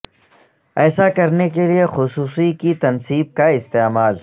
ایسا کرنے کے لئے خصوصی کی تنصیب کا استعمال